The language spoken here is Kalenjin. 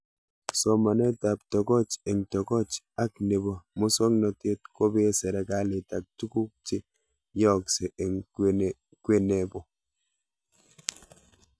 Somanet ab tokoch eng'tokoch ak nepo muswognatet kopee serikalit ak tuguk che yaakse eng' kwennepo